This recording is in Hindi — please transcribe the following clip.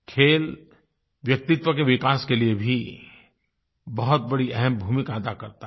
खेल व्यक्तित्व के विकास के लिए भी बहुत बड़ी अहम भूमिका अदा करता है